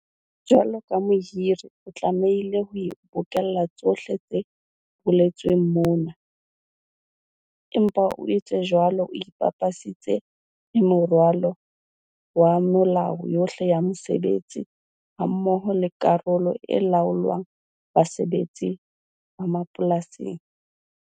Jwalo ka mohiri o tlamehile ho bokella tsohle tse boletsweng mona, empa o etse jwalo o ipapisitse le moralo wa melao yohle ya mosebetsi hammoho le karolo e laolang basebetsi ba mapolasi.